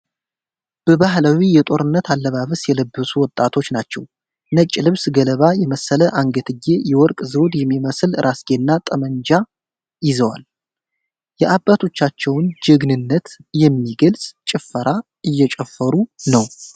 በባህላዊ የጦርነት አለባበስ የለበሱ ወጣቶች ናቸው። ነጭ ልብስ፣ ገለባ የመሰለ አንገትጌ፣ የወርቅ ዘውድ የሚመስል ራስጌና ጠመንጃ ይዘዋል። የአባቶቻቸውን ጀግንነት የሚገልጽ ጭፈራ እየጨፈሩ ነው።